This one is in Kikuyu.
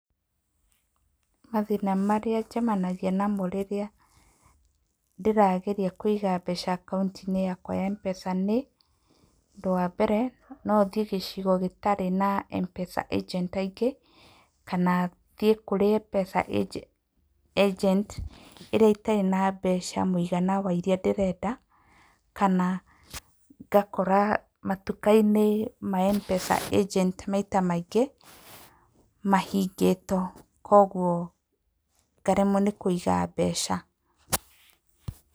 Mathĩna marĩa njemanagia namo rĩrĩa ndĩrageria kũiga mbeca akaũnti-inĩ yakwa ya M-pesa nĩ; ũndũ wa mbere, nothiĩ gĩcigo gĩtarĩ na M-pesa agent aingĩ, kana thiĩ kwĩ M-Pesa agent ĩrĩa ĩtarĩ na mbeca mũigana wa iria ndĩrenda, kana ngakora matuka-inĩ ma M-pesa agent maita maingĩ mahingĩtwo. Koguo ngaremwo nĩ kũiga mbeca.